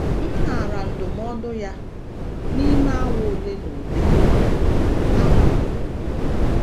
M naara ndụmọdụ ya, n’ime awa ole na ole kwa, ahapụrụ m ụlọ.